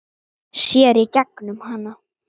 Hann horfir á hana hvumsa.